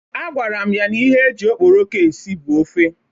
Agwara m ya na ihe eji okporoko esi bụ ofe.